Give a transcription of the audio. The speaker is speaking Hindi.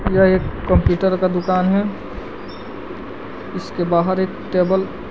यह एक कंप्यूटर का दुकान है इसके बाहर एक टेबल --